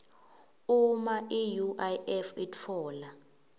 uma iuif itfola